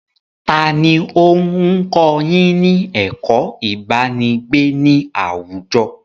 Taàní ó ń kọ́ yín ní ẹ̀kó ibanigbe ni àwùjọ?